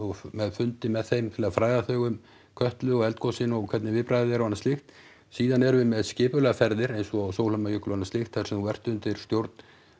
með fundi með þeim til að fræða þau um Kötlu og eldgosin og hvernig viðbragð er og annað slíkt síðan erum við með skipulagðar ferðir eins og á Sólheimajökul og annað slíkt þar sem þú ert undir stjórn